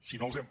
si no els hem